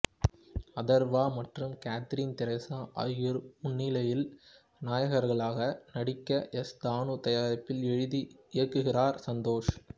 அதர்வா மற்றும் Catherine Tresa ஆகியோர் முன்னனி நாயகர்களாக நடிக்க எஸ் தாணு தயாரிப்பில் எழுதி இயக்குகிறார் சந்தோஷ்